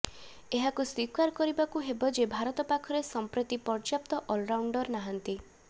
ଏହାକୁ ସ୍ୱୀକାର କରିବାକୁ ହେବ ଯେ ଭାରତ ପାଖରେ ସଂପ୍ରତି ପର୍ଯ୍ୟାପ୍ତ ଅଲରାଉଣ୍ଡର ନାହାନ୍ତି